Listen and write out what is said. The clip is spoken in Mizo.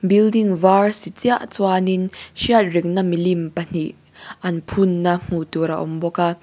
building var si chiah chuanin hriatreng na milim pahnih an phun na hmuh tur a awm bawk a.